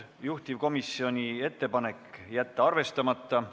Juhtivkomisjoni seisukoht on jätta see arvestamata.